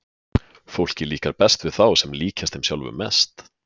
Fólki líkar best við þá sem líkjast þeim sjálfum mest.